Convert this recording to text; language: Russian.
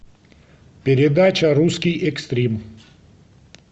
передача русский экстрим